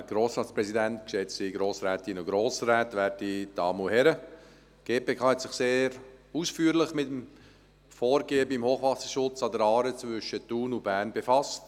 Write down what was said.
Die GPK hat sich sehr ausführlich mit dem Vorgehen beim Hochwasserschutz zwischen Thun und Bern befasst.